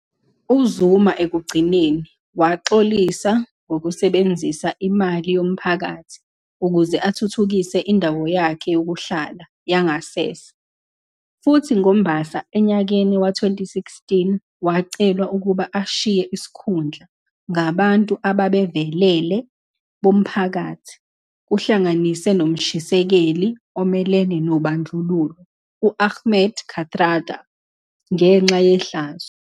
UZuma ekugcineni waxolisa ngokusebenzisa imali yomphakathi ukuze athuthukise indawo yakhe yokuhlala yangasese futhi ngoMbasa enyakeni wezi- 2016 wacelwa ukuba ashiye isikhundla ngabantu abavelele bomphakathi, kuhlanganise nomshisekeli omelene nobandlululo u-Ahmed Kathrada, ngenxa yehlazo.